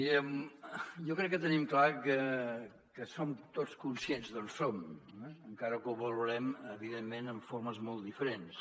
mirem jo crec que tenim clar que som tots conscients d’on som encara que ho valorem evidentment amb formes molt diferents